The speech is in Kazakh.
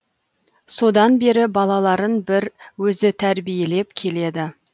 содан бері балаларын бір өзі тәрбиелеп келеді